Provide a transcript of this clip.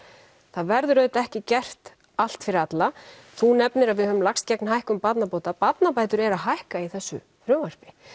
það verður auðvitað ekki gert allt fyrir alla þú nefnir að við höfum lagst gegn hækkun barnabóta barnabætur eru að hækka í þessu frumvarpi